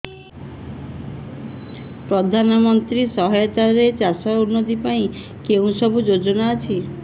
ପ୍ରଧାନମନ୍ତ୍ରୀ ସହାୟତା ରେ ଚାଷ ର ଉନ୍ନତି ପାଇଁ କେଉଁ ସବୁ ଯୋଜନା ଅଛି